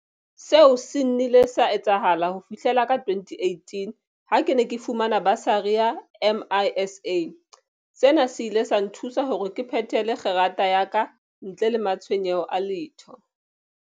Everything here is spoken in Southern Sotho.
Seo se nnile sa etsahala ho fihlela ka 2018 ha ke ne ke fumana basari ya MISA. Sena se ile sa nthusa hore ke phethele kgerata ya ka ntle le matshwenyeho a letho.